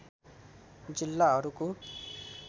जिल्लाहरूको